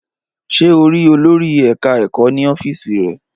Ṣé o rí olòrì eka-eko ní ọ́fíìsì rẹ̀?